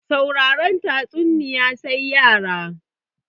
Sauraren tatsuniya sai yara